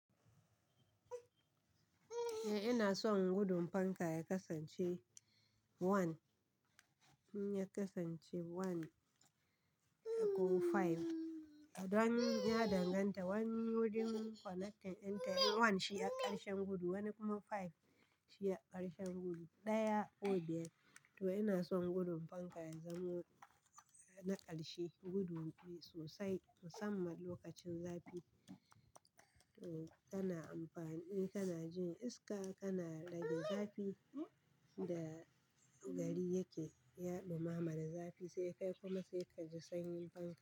Eh ina son gudun fanka ya kasance one in ya kasance one dai ko five. Wanni bi ya danganta wani wurin connecting dinta one shi a karshen gudu wanni kuma five shi a karshen gudu, ɗaya ko biyar. Toh ina son gudun fanka ya zama na ƙarshe gudun bi sosai musamman lokacin zafi. To kana amfani kana jin iska kana rage zafin da gari yake yaɗomama zafi sai kai kuma sai ka ji sanyin fanka.